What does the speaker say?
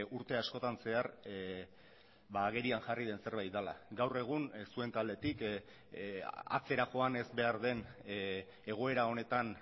urte askotan zehar agerian jarri den zerbait dela gaur egun zuen taldetik atzera joan ez behar den egoera honetan